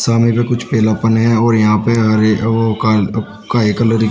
सामने पे कुछ पीलापन है और यहां पे हरे वो काल काए कलर की--